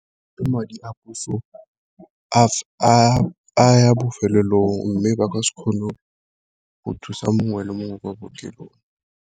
Ke madi a puso a ya bofelelong, mme ba ka se kgone go thusa mongwe le mongwe kwa bookelong.